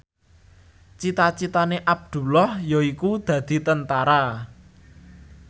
cita citane Abdullah yaiku dadi Tentara